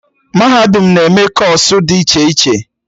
Mahadum na-eme kọọsụ dị iche iche